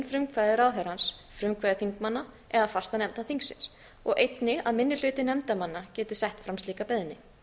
frumkvæði ráðherrans frumkvæði þingmanna eða fastanefnda þingsins og einnig að minni hluti nefndarmanna geti sett fram slíka beiðni